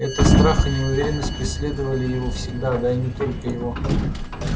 это страх и неуверенность преследовали его всегда да и не только его